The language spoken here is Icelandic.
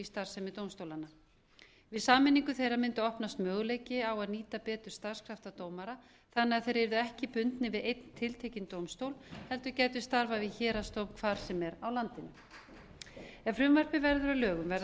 starfsemi dómstólanna við sameiningu þeirra mundi opnast möguleiki á að nýta betur starfskrafta dómara þannig að þeir yrðu ekki bundnir við einn tiltekinn dómstól heldur gætu starfað við héraðsdóm hvar sem er á landinu ef frumvarpið verður að lögum verða